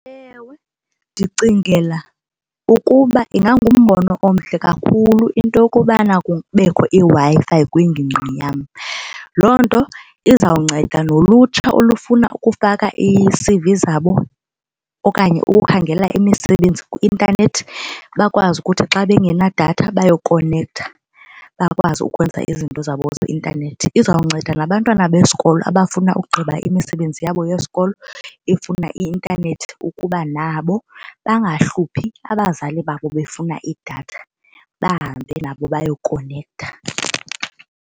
Ewe, ndicingela ukuba ingangumbono omhle kakhulu into yokubana kubekho iWi-Fi kwingingqi yam. Loo nto izawunceda nolutsha olufuna ukufaka ii-C_V zabo okanye ukukhangela imisebenzi kwi-intanethi bakwazi ukuthi xa bengenadatha bayokonektha bakwazi ukwenza izinto zabo zeintanethi. Izawunceda nabantwana besikolo abafuna ugqiba imisebenzi yabo yesikolo efuna i-intanethi, ukuba nabo bangahluphi abazali babo befuna idatha bahambe nabo bayokonektha.